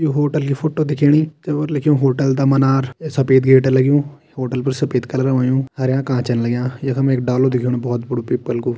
यो hotel की photo दिखेणी जे पर लिखियुं होटल दा मनार एक सफ़ेद गेट लग्युं होटल पर सफ़ेद कलर होयुं हर्या कांचन लग्यां यखम एक डालू दिखेणु बोहोत बड़ु पीपल कु।